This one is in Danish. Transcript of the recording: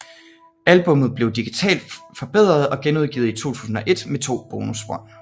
Albummet blev digitalt forbedret og genudgivet i 2001 med to bonusspor